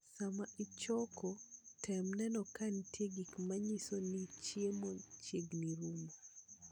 Sama ichoko tem neno ka nitie gik manyiso ni chiemo chiegni rumo.